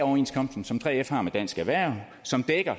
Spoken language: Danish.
overenskomsten som 3f har med dansk erhverv som